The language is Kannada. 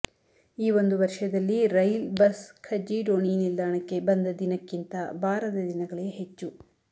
ಈ ಒಂದು ವರ್ಷದಲ್ಲಿ ರೈಲ್ ಬಸ್ ಖಜ್ಜಿಡೋಣಿ ನಿಲ್ದಾಣಕ್ಕೆ ಬಂದ ದಿನಕ್ಕಿಂತ ಬಾರದ ದಿನಗಳೇ ಹೆಚ್ಚು